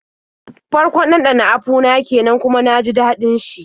Farkon ɗanɗana apu na kenan kuma na ji daɗin shi.